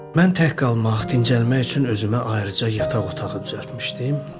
Mən tək qalmaq, dincəlmək üçün özümə ayrıca yataq otağı düzəltmişdim.